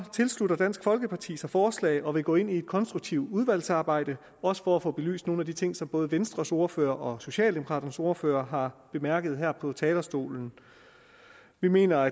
tilslutter dansk folkeparti sig forslaget og vil gå ind i et konstruktivt udvalgsarbejde også for at få belyst nogle af de ting som både venstres ordfører og socialdemokraternes ordfører har bemærket her fra talerstolen vi mener